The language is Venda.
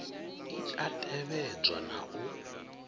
i a tevhedzwa na u